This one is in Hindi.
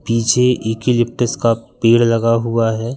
पीछे यूकेलिप्टस का पेड़ लगा हुआ है।